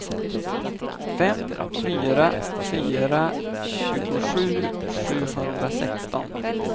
fem fyra fyra fyra tjugosju sjuhundrasexton